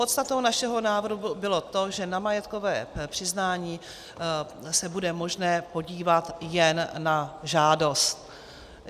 Podstatou našeho návrhu bylo to, že na majetkové přiznání se bude možné podívat jen na žádost.